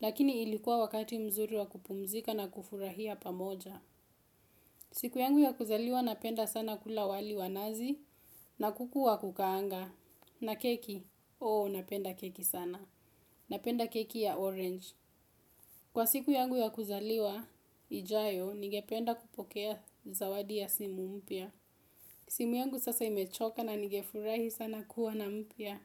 lakini ilikuwa wakati mzuri wa kupumzika na kufurahia pamoja. Siku yangu ya kuzaliwa napenda sana kula wali wanazi na kuku wa kukaanga. Na keki? Oo, napenda keki sana. Na penda keki ya orange. Kwa siku yangu ya kuzaliwa ijayo nige penda kupokea zawadi ya simu mpya. Simu yangu sasa imechoka na nige furahi sana kuwa na mpya.